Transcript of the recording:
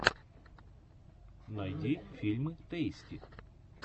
найди фильмы тэйсти